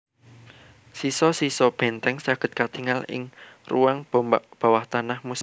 Sisa sisa benteng saged katingal ing ruang bawah tanah muséum